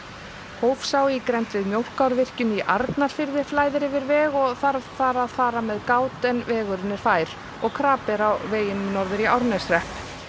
hófsá í grennd við Mjólkárvirkjun í Arnarfirði flæðir yfir veg og þarf þar að fara með gát en vegurinn er fær og krapi er á veginum norður í Árneshrepp